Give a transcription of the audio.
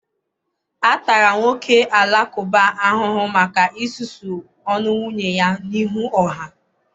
A tara nwoke Alakụba ahụhụ maka isusu ọnụ nwunye ya n'ihu ọha.